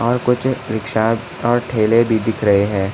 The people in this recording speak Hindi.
और कुछ रिक्शा और ठेले भी दिख रहे है।